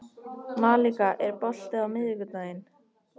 Malika, er bolti á miðvikudaginn?